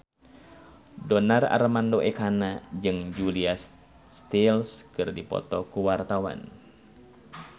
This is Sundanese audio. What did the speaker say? Donar Armando Ekana jeung Julia Stiles keur dipoto ku wartawan